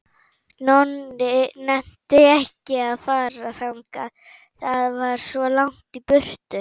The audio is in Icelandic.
Nonni nennti ekki að fara þangað, það var svo langt í burtu.